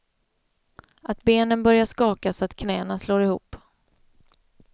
Att benen börjar skaka så att knäna slår ihop.